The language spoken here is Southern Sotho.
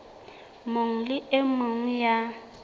mong le e mong ya